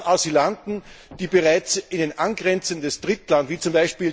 Der Plan, Asylanten, die bereits in ein angrenzendes Drittland wie z.